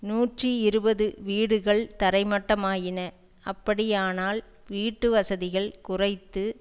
நூற்றி இருபது வீடுகள் தரைமட்டமாயின அப்படியானால் வீட்டு வசதிகள் குறைந்து